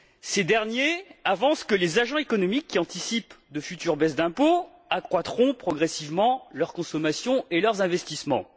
Ces derniers avancent que les agents économiques qui anticipent de futures baisses d'impôt accroîtront progressivement leur consommation et leurs investissements.